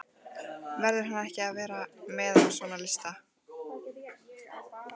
Verður hann ekki að vera með á svona lista?